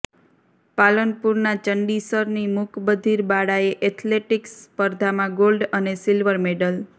પાલનપુરના ચંડીસરની મુક બધીર બાળાએ એથ્લેટીકસ સ્પર્ધામાં ગોલ્ડ અને સિલ્વર મેડલ